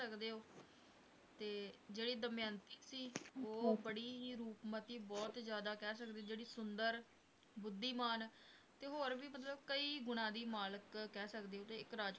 ਸਕਦੇ ਹੋ ਤੇ ਜਿਹੜੀ ਦਮਯੰਤੀ ਸੀ ਉਹ ਬੜੀ ਹੀ ਰੂਪਮਤੀ ਬਹੁਤ ਜ਼ਿਆਦਾ ਕਹਿ ਸਕਦੇ ਹੋ ਜਿਹੜੀ ਸੁੰਦਰ, ਬੁੱਧੀਮਾਨ ਹੋਰ ਵੀ ਮਤਲਬ ਕਈ ਗੁਣਾ ਦੀ ਮਾਲਕ ਕਹਿ ਸਕਦੇ ਹੋ ਤੇ ਇੱਕ ਰਾਜ